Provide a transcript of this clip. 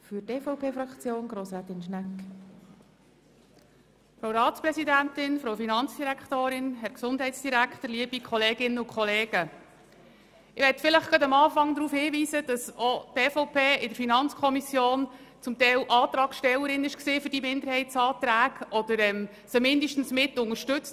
Auch die EVP war in der FiKo zum Teil Antragstellerin bei diesen Minderheitsanträgen, oder sie hat sie zumindest mitunterstützt, damit überhaupt Minderheitsanträge daraus entstehen konnten.